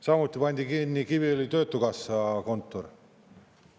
Samuti pandi kinni Kiviõli töötukassa kontor.